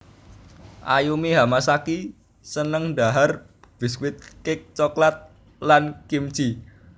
Ayumi Hamasaki seneng dhahar biskuit cake coklat lan kimchee